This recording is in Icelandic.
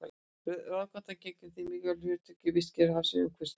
Rauðátan gegnir því mikilvægu hlutverki í vistkerfi hafsins umhverfis landið.